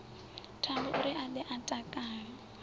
thambouri a ḓe a takale